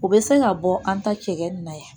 U bɛ se ka bɔ an ta cɛkɛ nin na yan